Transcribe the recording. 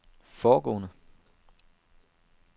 foregående